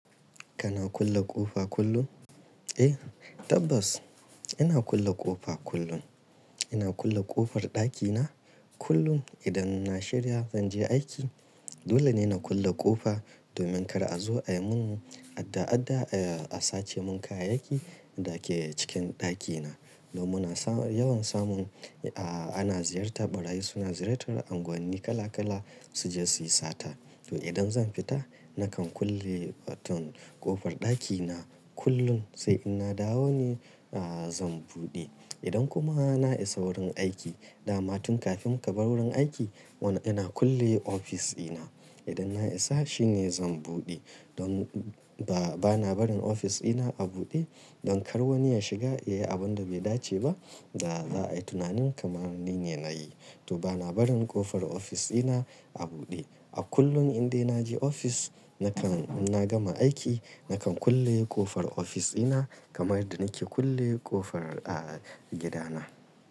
Kana kulle ƙofa kullum? Eh tabbas ina kulle ƙofa kullum. Ina kulle ƙofar ɗakina kullum idan na shirya zan je aiki. Dole ne na kulle ƙofa domin kar a zo a yi mun adda-adda, a sace mun kayayyaki da ke cikin ɗakina. Don muna yawan samun, a ana ziyartar ɓarayi suna ziyartar unguwanni kala kala su je su yi sata. To idan zan fita nakan kulle wato ƙofar ɗakina kullum sai in na dawo ne zan buɗe. Idan kuma na isa wurin aiki, damatun kafin ka bar wurin aiki, wani yana kulle ofis ɗina. Idan na isa shine zan buɗe don ba, bana barin ofis ɗina a buɗe don kar wani ya shiga, yayi abin da bai dace ba da za a yi tunanin kamar nine nayi. To bana barin ƙofar ofis ɗina a buɗe. A kullum indai na je ofis nakan in na gama aiki nakan kulle ƙofar ofis ɗina kamar yadda nake kulle ƙofar a gida na.